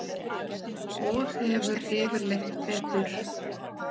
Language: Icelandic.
Og hefur yfirleitt betur.